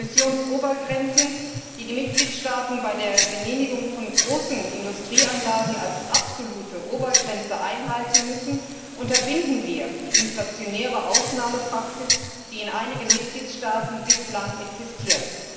Mit Emissionsobergrenzen, die die Mitgliedstaaten bei der Genehmigung von großen Industrieanlagen als absolute Obergrenze einhalten müssen, unterbinden wir die inflationäre Ausnahmepraxis, die in einigen Mitgliedstaaten bislang existiert.